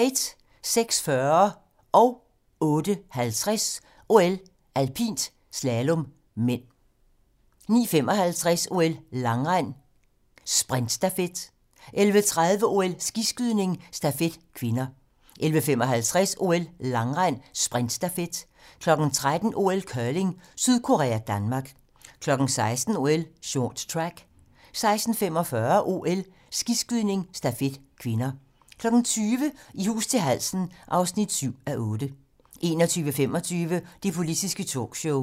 06:40: OL: Alpint - slalom (m) 08:50: OL: Alpint - slalom (m) 09:55: OL: Langrend - sprintstafet 11:30: OL: Skiskydning - stafet (k) 11:55: OL: Langrend - sprintstafet 13:00: OL: Curling: Sydkorea-Danmark 16:00: OL: Short track 16:45: OL: Skiskydning - stafet (k) 20:00: I hus til halsen (7:8) 21:25: Det politiske talkshow